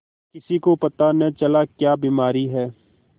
किसी को पता न चला क्या बीमारी है